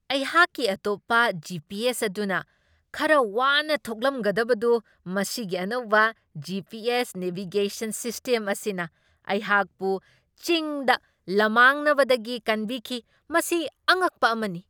ꯑꯩꯍꯥꯛꯀꯤ ꯑꯇꯣꯞꯞ ꯖꯤ.ꯄꯤ.ꯑꯦꯁ ꯑꯗꯨꯅ ꯈꯔ ꯋꯥꯅ ꯊꯣꯛꯂꯝꯒꯗꯕꯗꯨ ꯃꯁꯤꯒꯤ ꯑꯅꯧꯕ G. P. S. Navigation system ꯑꯁꯤꯅ ꯑꯩꯍꯥꯛꯄꯨ ꯆꯤꯡꯗ ꯂꯝꯃꯥꯡꯅꯕꯗꯒꯤ ꯀꯟꯕꯤꯈꯤ ꯫ ꯃꯁꯤ ꯑꯉꯛꯄ ꯑꯃꯅꯤ !